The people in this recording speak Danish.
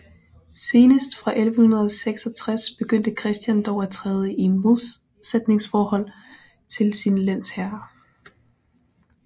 Senest fra 1166 begyndte Christian dog at træde i modsætningsforhold til sin lensherre